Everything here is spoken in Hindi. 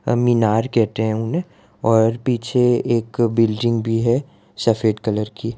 अह मीनार कहते हैं उन्हें और पीछे एक बिल्डिंग भी है सफेद कलर की।